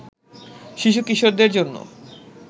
শিশুকিশোরদের জন্য